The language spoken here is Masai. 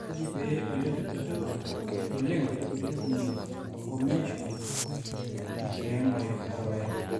kaji pee ole dupoto oleng entulugumi e "aforementioned" te enkiremore oorpaek